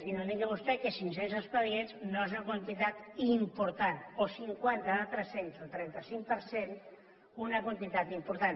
i no digui vostè que cinc cents expedients no és una quantitat important o cinquanta de tres cents el trenta cinc per cent una quantitat important